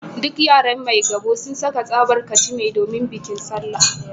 Duk yaran Maigabo sun saka tsabar kachime domin bikin Sallah